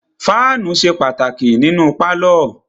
Fáànù ṣe pàtàkì nínú pálọ̀.